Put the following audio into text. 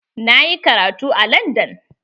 Na yi karatu a landan.